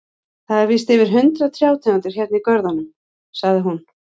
Það eru víst yfir hundrað trjátegundir hérna í görðunum, sagði hún.